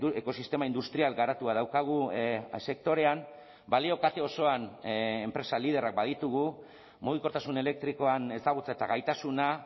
ekosistema industrial garatua daukagu sektorean balio kate osoan enpresa liderrak baditugu mugikortasun elektrikoan ezagutza eta gaitasuna